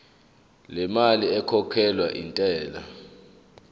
lemali ekhokhelwa intela